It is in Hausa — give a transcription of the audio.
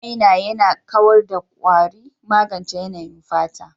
Man maina yana kawar da kwari, magance yanayin fata.